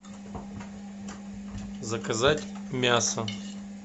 заказать мясо